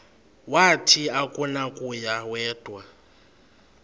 wathi akunakuya wedw